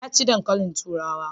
Ya ci dankalin turawa.